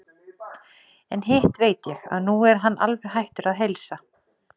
En hitt veit ég, að nú er hann alveg hættur að heilsa.